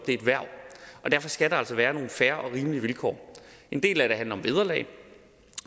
et hverv og derfor skal der altså være nogle fair og rimelige vilkår en del af det handler om vederlag